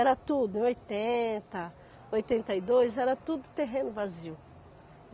Era tudo, em oitenta, oitenta e dois, era tudo terreno vazio.